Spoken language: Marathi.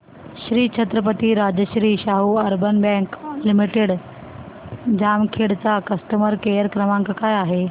Shri Chhatrapati Rajarshi Shahu urban bank limited Jamkhed चा कस्टमर केअर क्रमांक काय आहे